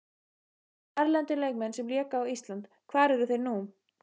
Erlendir leikmenn sem léku á Íslandi Hvar eru þeir nú?